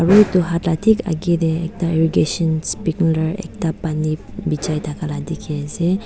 akae tae ekta irrigation sprinkler ekta pani bijai thaka la dikhiase.